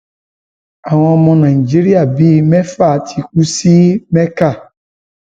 àwọn ọmọ nàìjíríà bíi mẹfà ti kú sí mẹkà